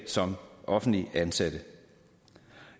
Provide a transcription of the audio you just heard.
som offentligt ansatte